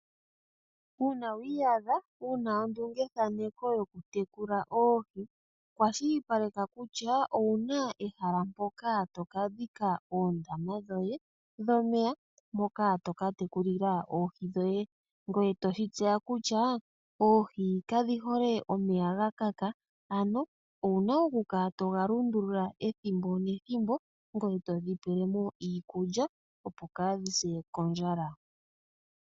Uuna wiiyadha wuna ondungethaneko yokutekula oohi, kwashilipaleka kutya owuna ehala mpoka toka dhika oondama dhoye dhomeya moka toka tekulilwa oohi dhoye. Ngoye toshi tseya kutya oohi kadhi hole eya gakaka, ano owuna okukala toga lundulula ethimbo nethimbo , ngoye todhi pelemo iikulya opo kaadhi se kondjala.